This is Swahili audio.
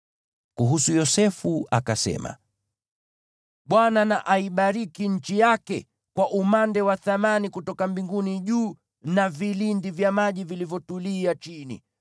Kuhusu Yosefu akasema: “ Bwana na aibariki nchi yake kwa umande wa thamani kutoka mbinguni juu, na vilindi vya maji vilivyotulia chini;